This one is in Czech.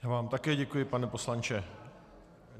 Já vám také děkuji, pane poslanče.